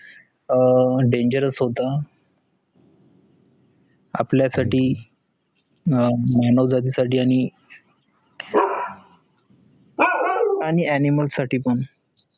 आह dangerous होत आपला साटी मानव जाती साटी आणी animal साटी पण